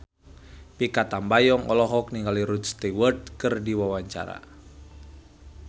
Mikha Tambayong olohok ningali Rod Stewart keur diwawancara